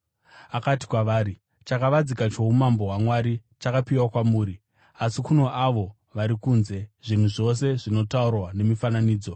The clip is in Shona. Akati kwavari, “Chakavanzika choumambo hwaMwari chakapiwa kwamuri. Asi kuna avo vari kunze, zvinhu zvose zvinotaurwa nemifananidzo